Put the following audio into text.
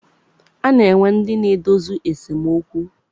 A na-enwe ndị na-edozi esemokwu.